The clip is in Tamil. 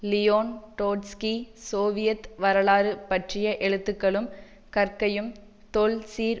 லியோன் ட்ரொட்ஸ்கி சோவியத் வரலாறு பற்றிய எழுத்துக்களும் கற்கையும் தொல்சீர்